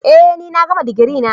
Eh ni na gama digiri na.